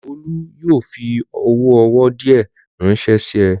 Olú yóò fi owó owó díẹ̀ ránṣẹ́ sí ẹ!